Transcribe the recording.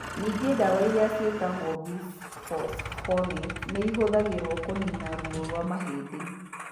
Ningĩ ndawa iria ciĩtagwo bisphosphonates nĩ ihũthagĩrũo kũniina ruo rwa mahĩndĩ.